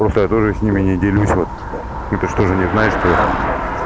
просто я тоже с ними не делюсь вот это что же не значит что я